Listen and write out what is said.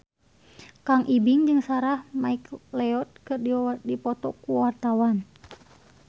Kang Ibing jeung Sarah McLeod keur dipoto ku wartawan